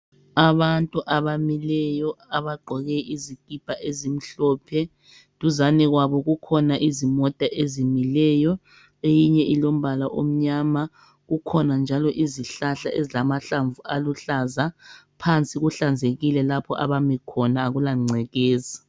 Abantu abamileyo abagqoke izikipa ezimhlophe, duzane kwabo kukhona izimota ezimileyo. Eyinye ilombala omnyama, kukhona njalo izihlahla ezilama hlamvu aluhlaza phansi kuhlanzekile lapho abami khona akula ngcekeza.